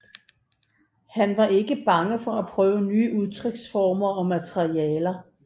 Han var ikke bange for at prøve nye udtryksformer og materialer